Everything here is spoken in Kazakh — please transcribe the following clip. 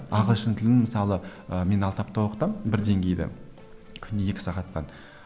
ағылшын тілін мысалы ы мен алты апта оқытамын бір деңгейді күніне екі сағаттан